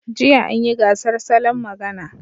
Jiya an yi gasar salon magana.